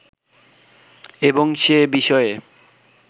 এবং সে বিষয়ে